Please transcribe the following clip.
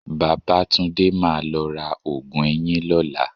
Babátúndé máa lọ ra oògùn eyín lọ́la